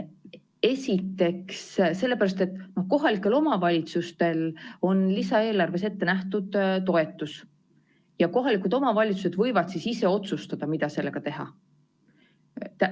Esiteks sellepärast, et kohalikel omavalitsustel on lisaeelarves ette nähtud toetus ja kohalikud omavalitsused võivad ise otsustada, mida sellega teha.